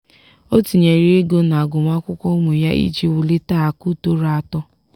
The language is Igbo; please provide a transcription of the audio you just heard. ọ tinyere ego na agụmakwụkwọ ụmụ ya iji wulite akụ tọrọ atọ.